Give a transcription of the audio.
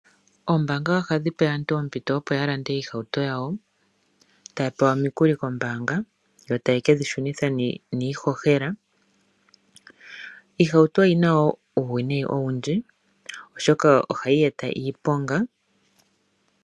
Oombanga ohadhi pe aantu oompito opo ya lande oohauto dhawo, ta pewa omikuli kombanga yo taye ke dhi shunitha niishohela. Oohauto odhi na wo uuwinayi owundji oshoka ohayi eta iiponga.